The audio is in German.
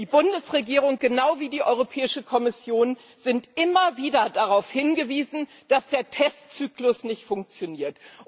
Die Bundesregierung, genau wie die Europäische Kommission, ist immer wieder darauf hingewiesen worden, dass der Testzyklus nicht funktioniert.